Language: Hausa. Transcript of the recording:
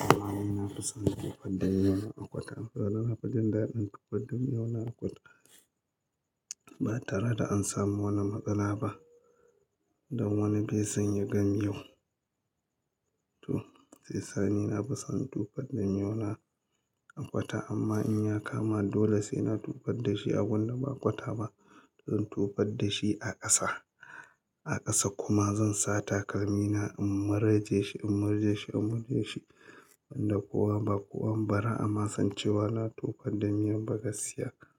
Amma ai na fi son tufar da miyau na a kwata. Saboda na fi jin daɗin tufar da miyau na a kwata. Ba tare da an samu wani matsala ba. Don wani be san ya ga miyau. To sai sani na fi son tufar da miyau na a kwata amma in ya kama dole sai na tufar da shi a gunda ba kwata ba. Don tufar da shi a ƙasa, a ƙasa kuma zan sa takalmi na in murje shi, in murje shi, in murje shi. Wanda kowa ba kowa bara a ma sancewa na tufar da miyau ba gaskiya ka.